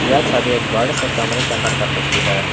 यह छबि एक बड़े से कमरे के अंदर का तस्वीर है।